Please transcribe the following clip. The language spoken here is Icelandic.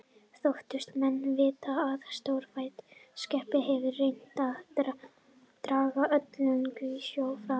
Þóttust menn vita að stórfætt skepna hefði reynt að draga öldunginn í sjó fram.